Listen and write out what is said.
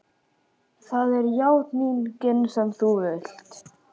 Það er játningin sem þú vilt.